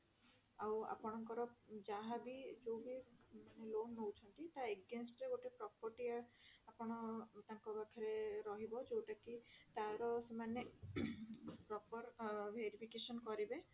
ଆଉ ଆପଣଙ୍କର ଯାହା ବି ଯୋଉ ବି ମାନେ loan ନଉଛନ୍ତି ତା against ରେ ଗୋଟେ property ଆପଣ ତାଙ୍କ ପାଖରେ ରହିବ ଯୋଉଟା କି ତାର ସେମାନେ proper verification କରିବେ